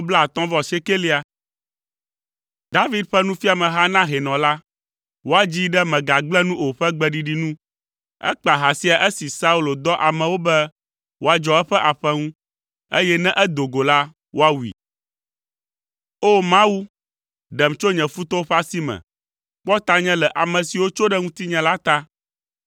David ƒe nufiameha na hɛnɔ la. Woadzii ɖe “Mègagblẽ nu o” ƒe gbeɖiɖi nu. Ekpa ha sia esi Saul dɔ amewo be woadzɔ eƒe aƒe ŋu, eye ne edo go la, woawui. O! Mawu, ɖem tso nye futɔwo ƒe asi me; kpɔ tanye le ame siwo tso ɖe ŋutinye la ta.